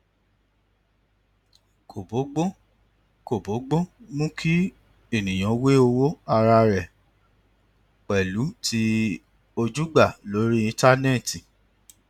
kò bógbón kò bógbón mu kí ènìyàn wé owó ara rẹ pèlú ti ojúgbà lórí íńtánétì